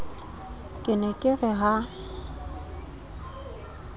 ke ne ke re ha